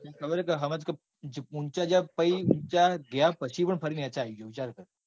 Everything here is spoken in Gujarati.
તન ખબર હ કે ઊંચા જ્યાં પછી વિચાર ગયા પછી પણ ફરી નીચે આવી ગયો. વિચાર કર.